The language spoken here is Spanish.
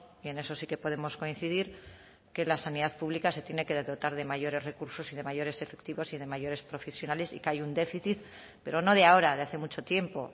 y en eso sí que podemos coincidir que la sanidad pública se tiene que dotar de mayores recursos y de mayores efectivos y de mayores profesionales y que hay un déficit pero no de ahora de hace mucho tiempo